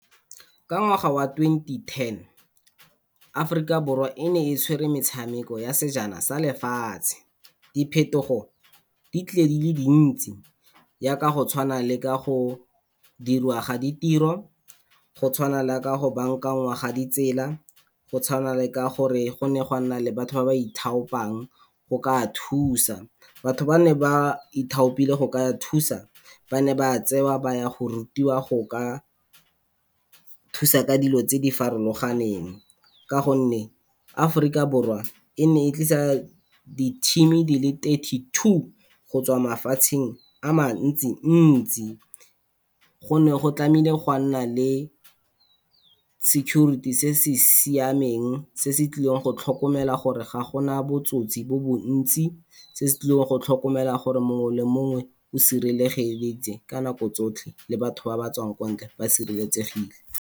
Ka ngwaga wa twenty-ten, Aforika Borwa e ne e tshwere metshameko ya sejana sa lefatshe. Diphetogo di tlile di le di ntsi jaaka go tshwana le ka go dirwa ga ditiro go tshwana le ka go baakanywa ga ditsela, go tshwana le ka gore gonne ga nna le batho ba ba ithaopang go ka thusa. Batho ba neng ba ithapile go thusa ba ne ba tsewa ba ya go rutiwa go ka thusa ka dilo tse di farologaneng, ka gonne Aforika Borwa e ne e tlisa di-team-e di le thirty two go tswa mafatsheng a mantsi-ntsi. Go ne go tlameile go nna le security se se siameng se se tlileng go tlhokomela gore ga gona botsotsi jo bo ntsi, se se tlileng go tlhokomela gore mongwe le mongwe o sireletsegile ka nako tsotlhe, le batho ba batswang kwa ntle ba sereletsegile.